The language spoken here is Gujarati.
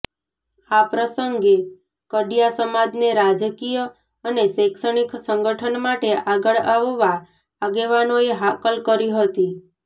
આ પ્રસંગે કડિયા સમાજને રાજકીય અને શૈક્ષણિક સંગઠન માટે આગળ આવવા આગેવાનોએ હાકલ કરી હતી